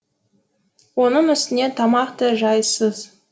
оның үстіне тамақ та жайсыз